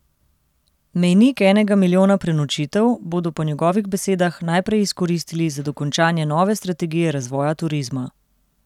Mejnik enega milijona prenočitev bodo po njegovih besedah najprej izkoristili za dokončanje nove strategije razvoja turizma.